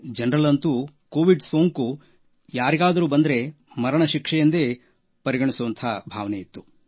ಜನರಲ್ಲಂತೂ Covid ಸೋಂಕು ಯಾರಿಗಾದರೂ ಬಂದರೆ ಮರಣಶಿಕ್ಷೆಯೆಂದೇ ಪರಿಗಣಿಸುವ ಭಾವನೆಯಿತ್ತು